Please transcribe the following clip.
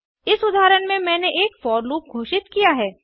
इस उदाहरण में मैंने एक फोर लूप घोषित किया है